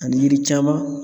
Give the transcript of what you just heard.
Ani yiri caman